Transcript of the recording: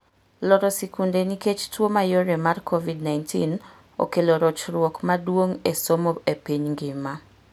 Loro sikunde nikech tuo mayore mar COVID-19 okelo rochruok maduong' esomo epiny ngima.